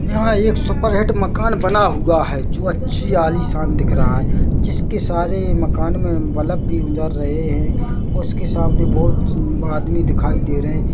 यहाँ एक सुपरहिट मकान बना हुआ हैजो अच्छी आलिशान दिख रहा है जिसके सारे मकान में बल्ब भी उजर रहे है उसके सामने बहोत आदमी दिखाई दे रहे है।